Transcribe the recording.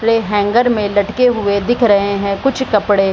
Hanger में लटके हुए दिख रहे हैं कुछ कपड़े।